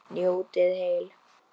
Njótið heil!